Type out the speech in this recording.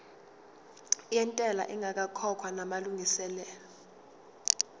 yentela ingakakhokhwa namalungiselo